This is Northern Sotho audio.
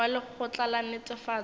wa lekgotla la netefatšo ya